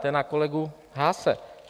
To je na kolegu Haase.